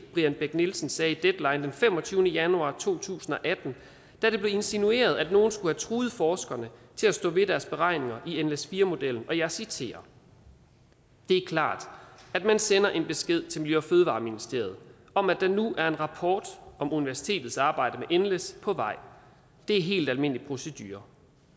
brian bech nielsen sagde i deadline den femogtyvende januar to tusind og atten da det blev insinueret at nogle skulle have truet forskerne til at stå ved deres beregninger i nles4 modellen og jeg citerer det er klart at man sender en besked til miljø og fødevareministeriet om at der nu er en rapport om universitetets arbejde med nles på vej det er helt almindelig procedure